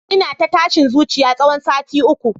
Ina ta tashin zuciya tsawon sati uku